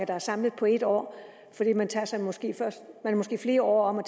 der er samlet på et år fordi man måske er flere år om at